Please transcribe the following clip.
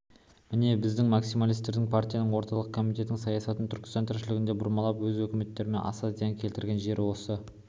міне біздің максималистердің партияның орталық комитетінің саясатын түркістан тіршілігінде бұрмалап өз өкіметімізге аса зиян келтірген жері осы